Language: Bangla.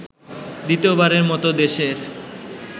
দ্বিতীয়বারের মতো দেশের